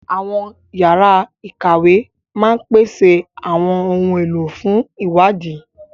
Àwọn yàrá ìkàwé máa ń pèsè àwọn ohun èlò fún ìwádìí